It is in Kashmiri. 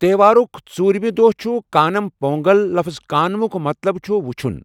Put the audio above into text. تہوارُک ژوُرِمہِ دۄہ چُھ کانٛم پونٛگل لفٕظ کانٛمُک مطلب چُھ 'وُچُھن'.